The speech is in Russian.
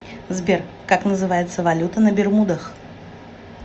сбер как называется валюта на бермудах